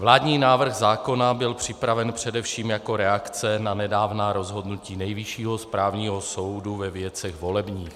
Vládní návrh zákona byl připraven především jako reakce na nedávná rozhodnutí Nejvyššího správního soudu ve věcech volebních.